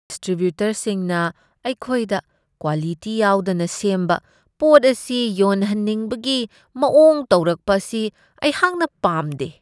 ꯗꯤꯁꯇ꯭ꯔꯤꯕ꯭ꯌꯨꯇꯔꯁꯤꯡꯅ ꯑꯩꯈꯣꯏꯗ ꯀ꯭ꯋꯥꯂꯤꯇꯤ ꯌꯥꯎꯗꯅ ꯁꯦꯝꯕ ꯄꯣꯠ ꯑꯁꯤ ꯌꯣꯟꯍꯟꯍꯤꯡꯕꯒꯤ ꯃꯋꯣꯡ ꯇꯧꯔꯛꯄ ꯑꯁꯤ ꯑꯩꯍꯥꯛꯅ ꯄꯥꯝꯗꯦ ꯫